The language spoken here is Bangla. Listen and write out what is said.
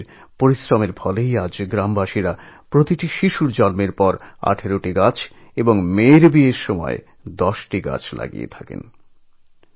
যমুনাজীর এই পরিশ্রমের সুফল হিসেবে আজ গ্রামের মানুষ প্রতিটি শিশুর জন্মের সময় ১৮টি করে এবং প্রতিটি মেয়ের বিয়ের সময় ১০টি করে গাছ লাগান